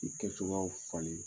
I kɛcogoyaw falen